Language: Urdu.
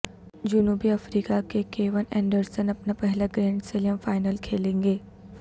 جنوبی افریقہ کہ کیون اینڈرسن اپنا پہلا گرینڈ سلیم فائنل کھیلیں گے